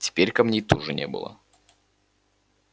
теперь камней тоже не было